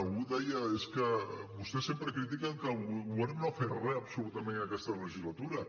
algú deia és que vostès sempre critiquen que el govern no ha fet re absolutament aquesta legislatura